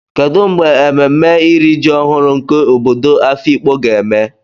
kedu mgbe ememme iri ji ọhụrụ nke obodo afikpo ga-eme?